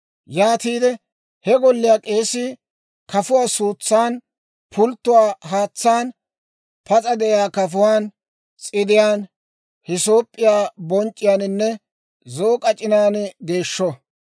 Yaatiide he golliyaa k'eesii kafuwaa suutsan, pulttuwaa haatsaan, pas'a de'iyaa kafuwaan, s'idiyaan, hisoop'p'iyaa bonc'c'iyaaninne zo'o k'ac'inan geeshsho.